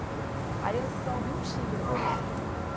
Aí eu só ouvi um xinga. Ahh